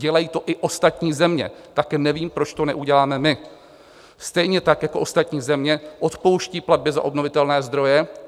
Dělají to i ostatní země, tak nevím, proč to neuděláme my stejně, tak jako ostatní země odpouští platby za obnovitelné zdroje.